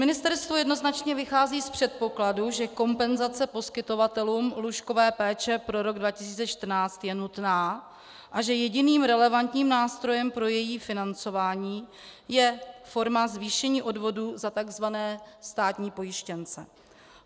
Ministerstvo jednoznačně vychází z předpokladů, že kompenzace poskytovatelům lůžkové péče pro rok 2014 je nutná a že jediným relevantním nástrojem pro její financování je forma zvýšení odvodů za tzv. státní pojištěnce.